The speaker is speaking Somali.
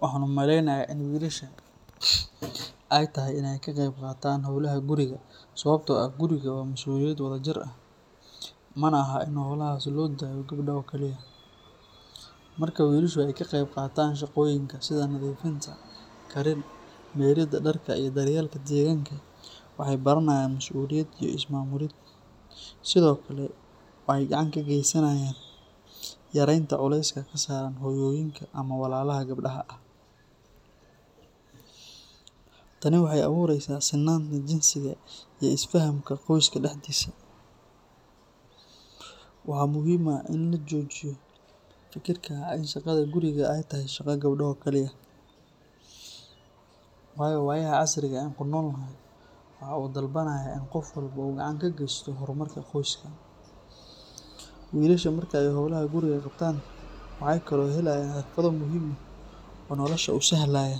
Waxaan u maleynayaa in wiilasha ay tahay inay ka qeyb qaataan howlaha guriga sababtoo ah gurigu waa mas’uuliyad wadajir ah, mana aha in howlahaas loo daayo gabdhaha oo kaliya. Marka wiilashu ay ka qeyb qaataan shaqooyinka sida nadiifinta, karin, mayridda dharka iyo daryeelka deegaanka, waxay baranayaan masuuliyad iyo is-maamulid. Sidoo kale, waxay gacan ka geysanayaan yareynta culayska ka saaran hooyooyinka ama walaalaha gabdhaha ah. Tani waxay abuureysaa sinnaanta jinsiga iyo isfahamka qoyska dhexdiisa. Waxaa muhiim ah in la joojiyo fikirka ah in shaqada guriga ay tahay shaqo gabdho oo kaliya, waayo waayaha casriga ah ee aan ku noolnahay waxa uu dalbanayaa in qof walba uu gacan ka geysto horumarka qoyska. Wiilasha marka ay howlaha guriga qabtaan waxay kaloo helayaan xirfado muhiim ah oo nolosha u sahlaya,